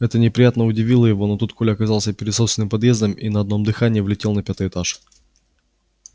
это неприятно удивило его но тут коля оказался перед собственным подъездом и на одном дыхании влетел на пятый этаж